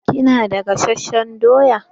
Kina da gasasshen doya?